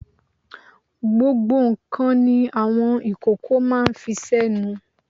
Gbogbo ǹkan ni àwọn ìkókó máa ń fi sẹ́nu.